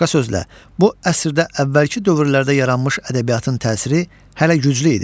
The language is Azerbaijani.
Başqa sözlə, bu əsrdə əvvəlki dövrlərdə yaranmış ədəbiyyatın təsiri hələ güclü idi.